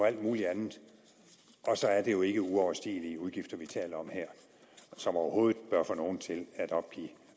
alt muligt andet og så er det jo ikke uoverstigelige udgifter vi taler om her som overhovedet bør få nogen til at opgive